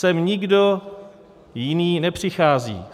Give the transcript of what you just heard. Sem nikdo jiný nepřichází.